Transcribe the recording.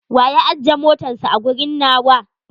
Wa ya ajje motatns a a gurin nawa?